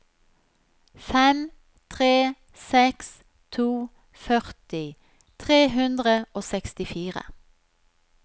fem tre seks to førti tre hundre og sekstifire